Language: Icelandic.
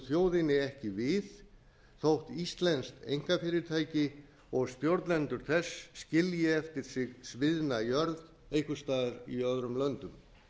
þjóðinni ekki við þótt íslensk einkafyrirtæki og stjórnendur þess skilji eftir sig sviðna jörð einhvers staðar í öðrum löndum